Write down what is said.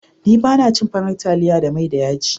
Ni ba na cin farar taliya da mai da yaji.